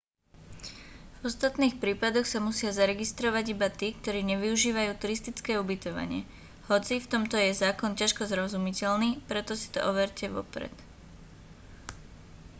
v ostatných prípadoch sa musia zaregistrovať iba tí ktorí nevyužívajú turistické ubytovanie hoci v tomto je zákon ťažko zrozumiteľný preto si to overte vopred